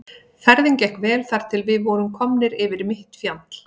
Ferðin gekk vel þar til við vorum komnir yfir mitt fjall.